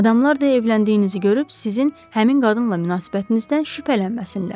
Adamlar da evləndiyinizi görüb sizin həmin qadınla münasibətinizdən şübhələnməsinlər.